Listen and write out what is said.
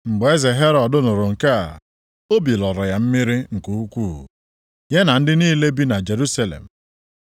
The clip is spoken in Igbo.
Mgbe eze Herọd nụrụ nke a, obi lọrọ ya mmiri nke ukwuu, ya na ndị niile bi na Jerusalem.